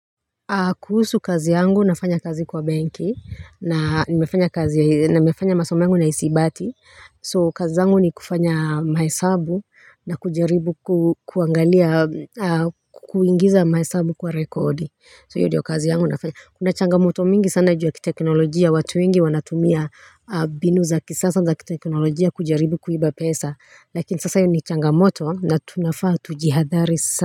Kuhusu kazi yangu nafanya kazi kwa benki na nimefanya kazi na nimefanya masoma yangu na hisibati so kazi yangu ni kufanya mahesabu na kujaribu kuangalia kuingiza mahesabu kwa rekodi so hiyo ndiyo kazi yangu nafanya kuna changamoto mingi sana juu ya kiteknolojia watu wengi wanatumia binu za kisasa za kiteknolojia kujaribu kuiba pesa lakini sasa hiyo ni changamoto na tunafaa tujihadhari sa.